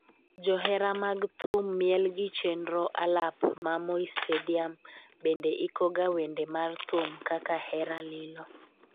johera mag thum miel gi chenro alap ma Moi stadium bende ikoga wende mar thum kaka hera lilo